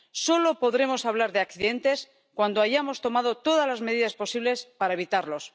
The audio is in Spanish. Solo podremos hablar de accidentes cuando hayamos tomado todas las medidas posibles para evitarlos.